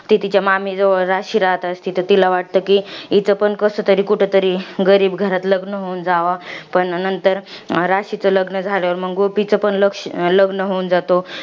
ती तिच्या मामी जवळ जशी राहत असती, तर तिला असं वाटतं कि हिचं पण कसतरी कुठतरी गरीब घरात लग्न होऊन जावं. पण नंतर राशीचं लग्न झाल्यावर मंग गोपीचं पण लक्ष लग्न होऊन जातं.